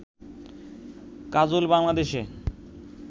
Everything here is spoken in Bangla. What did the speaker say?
কাজল বাংলাদেশে